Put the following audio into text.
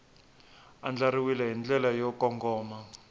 andlariwile hi ndlela yo kongoma